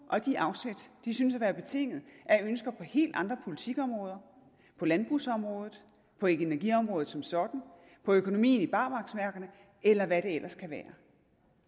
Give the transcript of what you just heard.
og de afsæt synes at være betinget af ønsker på helt andre politikområder på landbrugsområdet på energiområdet som sådan på økonomien i barmarksværkerne eller hvad det ellers kan være